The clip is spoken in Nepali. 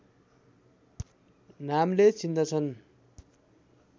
नामले चिन्दछन्